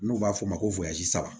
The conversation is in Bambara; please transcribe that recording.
N'u b'a f'o ma ko